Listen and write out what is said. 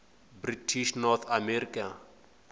british north america